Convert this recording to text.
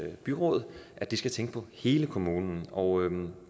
byråd at de skal tænke på hele kommunen og